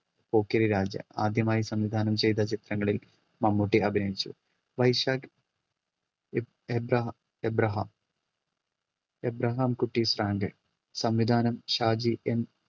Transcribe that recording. പോക്കിരിരാജ ആദ്യമായി സംവിധാനം ചെയ്ത ചിത്രങ്ങളിൽ മമ്മൂട്ടി അഭിനയിച്ചു. വൈശാഖ് എ എബ്രഹ എബ്രഹാം എബ്രഹാംകുട്ടി സാന്റെ സംവിധാനം ഷാജി N